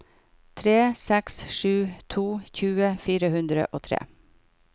tre seks sju to tjue fire hundre og tre